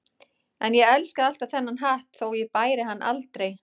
En ég elskaði alltaf þennan hatt þótt ég bæri hann aldrei.